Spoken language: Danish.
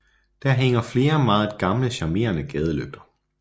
Der hænger flere meget gamle charmerende gadelygter